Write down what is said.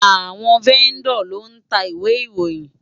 Awòn Vèndò ló ntá Iwé Iróyin